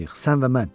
Sən və mən.